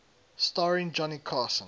starring johnny carson